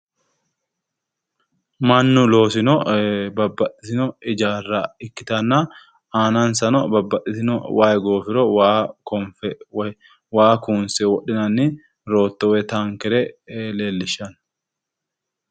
Mannu loosino babbaxxitino ijaarra ikkitanna aanansanno babbaxxitino waayi goofiro waa konfe woy waa kuunse wodhinani rootto woy taankere lellishshanno.